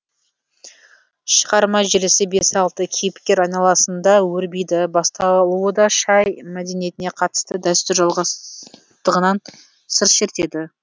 шығарма желісі бес алты кейіпкер айналасында өрбиді басталуы да шай мадениетіне қатысты дәстүр жалғастығынан сыр шертеді